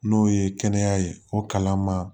N'o ye kɛnɛya ye o kalan ma